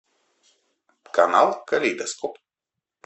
канал калейдоскоп